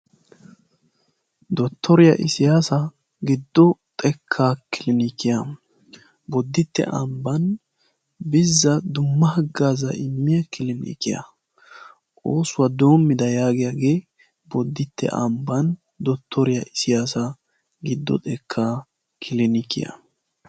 Dottoriya isiyasa giddo xekkaa kilinikiya boditte ambban bizza dumma haggaaza immiya kilinikiya. Oosuwa doommida yaagiyagee bodditte ambban dottoriya isiyasa giddo xekkaa kilinikiya.